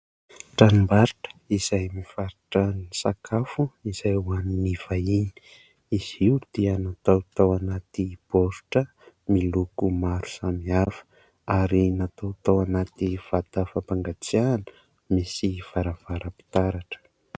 Tranom-barotra izay mivarotra ny sakafo izay ho an'ny vahiny. Izy io dia natao tao anaty boritra miloko maro samihafa, ary natao tao anaty vata fampangatsiahana misy varavaram-pitaratra.